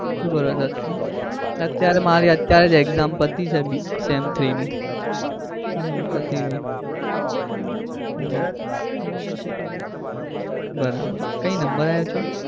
શું કરો છો? અત્યારે મારી અત્યારે જ મારી exam પતી છે sem three ની હમ પતિ ગઈ હમ બરાબર. કઈ નંબર આયો છે?